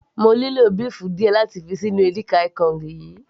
mo nílò béèfù díẹ̀ láti fi ṣí inú edika-ekong yìí